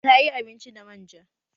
Ta yi abinci da man ja